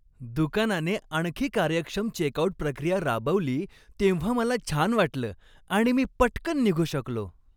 दुकानाने आणखी कार्यक्षम चेकआउट प्रक्रिया राबवली तेव्हा मला छान वाटलं आणि मी पटकन निघू शकलो.